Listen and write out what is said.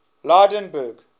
lydenburg